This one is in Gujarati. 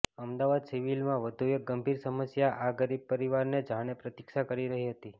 અમદાવાદ સિવિલમાં વધુ એક ગંભીર સમસ્યા આ ગરીબ પરિવારની જાણે પ્રતીક્ષા કરી રહી હતી